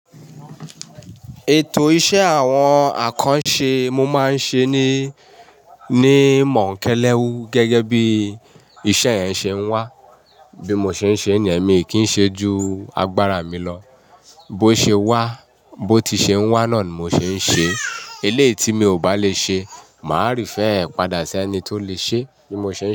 Ètò iṣẹ́ àwọn àkànṣe mo máa ń ṣe ní, ní mọ̀ńkéléwu gẹ́gẹ́ bí iṣẹ́ yẹn ṣe ń wá. Bí mo ṣe ń ṣe ní, èmi kì í ṣe ju agbára mi lọ. Bó ṣe wá, bó ti ṣe ń wá náà ni mo ṣe ń ṣe. Eléyìí tí mi ò bá lè ṣe, màá dapadà sí ẹni tó lè ṣe bí mo ṣe ń ṣe.